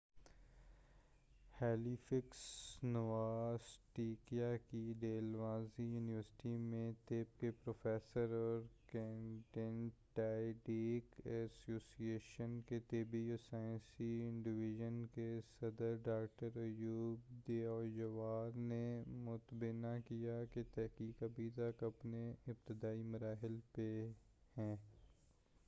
Halifax Nova Scotia کی Dalhousie university میں طب کے پروفیسر اور کینیڈین ڈائبیٹک ایسوسی ایشن کے طبی و سائنسی ڈویژن کے صدر ڈاکٹر ایہود یوآر نے متنبہ کیا ہے کہ تحقیق ابھی تک اپنے ابتدائی مراحل میں ہے